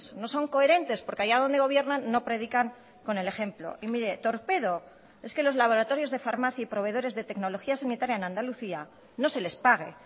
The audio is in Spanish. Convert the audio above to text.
no son coherentes porque allá donde gobiernan no predican con el ejemplo y miré torpedo es que los laboratorios de farmacia y proveedores de tecnologías sanitaria en andalucía no se les pague